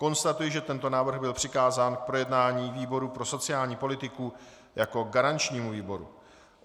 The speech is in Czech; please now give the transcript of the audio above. Konstatuji, že tento návrh byl přikázán k projednání výboru pro sociální politiku jako garančnímu výboru.